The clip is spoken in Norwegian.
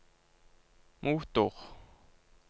motor